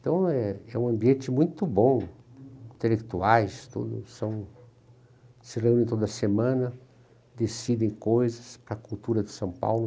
Então é é um ambiente muito bom, intelectuais tudo são, se reúnem toda semana, decidem coisas para a cultura de São Paulo.